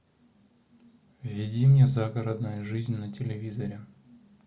введи мне загородная жизнь на телевизоре